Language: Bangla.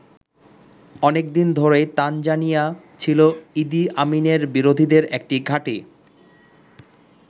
অনেক দিন ধরেই তানজানিয়া ছিল ইদি আমিনের বিরোধীদের একটি ঘাঁটি।